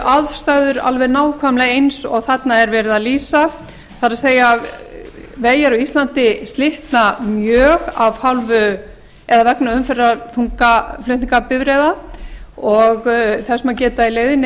aðstæður alveg nákvæmlega eins og þarna er verið að lýsa það er vegir á íslandi slitna mjög vegna umferðarþunga flutningabifreiða og þess má geta í leiðinni